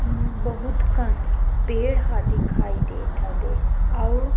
अम्म बहुत कन पेड़ ह दिखाई देत हवे अउ--